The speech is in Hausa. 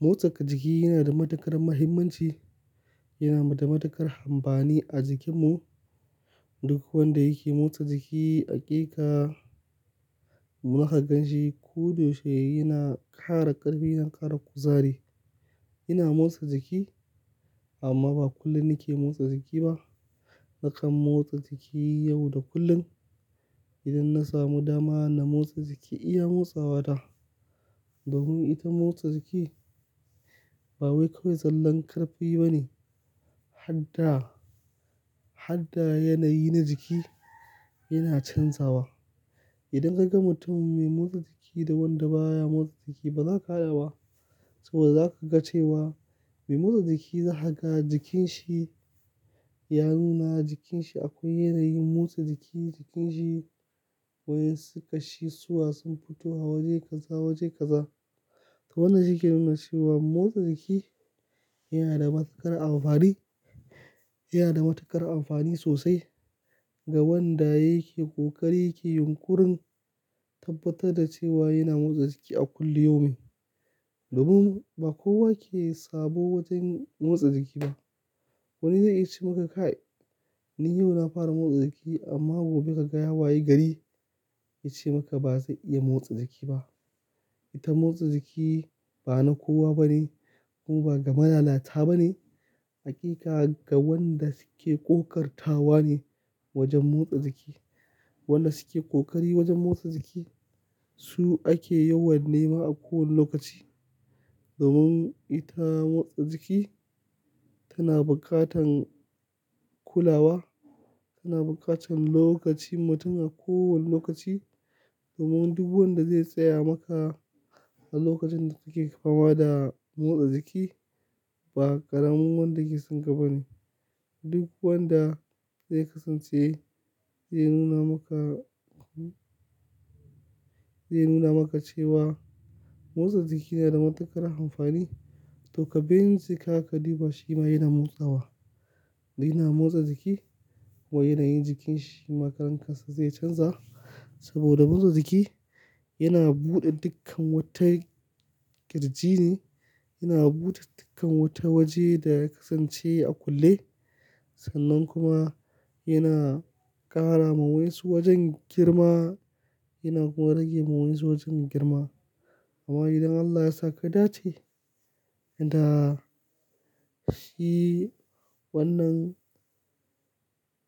Motsa jiki yana da matuƙar muhimmanci, yana da matuƙar amfani a jikinmu. Duk wanda yake motsa jiki haƙika zaka gan shi ko da yaushe yana ƙara ƙarfi, yana ƙara kuzari. Yana motsa jiki amma ba kullum nake motsa jiki ba. Na kan motsa jiki yau da kullum idan na samu dama na motsa jiki iya motsawa na. Domin ita motsa jiki ba wai kawai zallan ƙarfi bane, hatta, hatta yanayi na jiki yana canzawa. Idan ka ga mutumin mai motsa jiki da wanda baya motsa jiki ba za ka haɗaba saboda za ka ga cewa mai motsa jiki zakaga jikin shi ya nuna jikin shi akwai yanayin motsa jiki jikin shi wayen su kashisuwa sun fito waje kaza waje kaza. To wannan shi ke nuna cewa motsa jiki yana da matuƙar amfani, yana da matuƙar amfani sosai ga wanda yake ƙoƙari yake yunƙurin tabbatar da cewa yana motsa jiki a kullum yomi. Domin ba kowa ke sabo wajen motsa jiki ba. Wani zai yi ce maka kai "Ni yau na fara motsa jiki amma gobe ka ga ya waye gari" ya ce maka ba zai iya motsa jiki ba. Ita motsa jiki ba na kowa bane kuma ba ga malalata bane. Haƙiƙa ga wanda suke ƙoƙartawa ne wajen motsa jiki. Wanda suke ƙoƙari wajen motsa jiki su ake yawan nema a kowane lokaci. Domin ita motsa jiki tana buƙatan kulawa, tana buƙatan lokacin mutum a kowane lokaci. Domin duk wanda zai tsaya maka a lokacin da kake fama da motsa jiki ba ƙaramin wanda ke son kaba ne. Duk wanda zai kasance zai nuna maka, zai nuna maka cewa motsa jiki yana da matuƙar amfani. To ka bin jeka ka duba shi ma yana motsawa, yana motsa jiki wai yanayin jikin shi ma karan kansa zai canza. Saboda motsa jiki yana bude dukkan wata girji ne, yana bude dukkan wata waje da ya kasance a kulle. Sannan kuma yana ƙara ma wayan su wajen girma yana kuma rage ma wayan su wajen girma. Amma idan Allah ya sa kadace da shi wannan